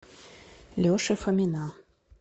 леши фомина